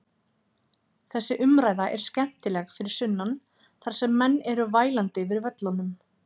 Þessi umræða er skemmtileg fyrir sunnan þar sem menn eru vælandi yfir völlunum.